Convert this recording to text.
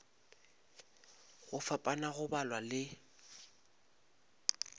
go fapana go balwa le